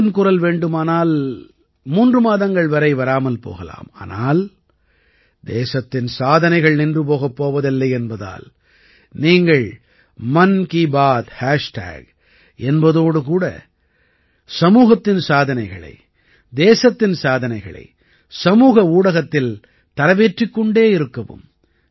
மனதின் குரல் வேண்டுமானால் மூன்று மாதங்கள் வரை வராமல் போகலாம் ஆனால் தேசத்தின் சாதனைகள் நின்று போகப் போவதில்லை என்பதால் நீங்கள் மன் கீ பாத் ஹேஷ்டேக் என்பதோடு கூட சமூகத்தின் சாதனைகளை தேசத்தின் சாதனைகளை சமூக ஊடகத்தில் தரவேற்றிக் கொண்டே இருக்கவும்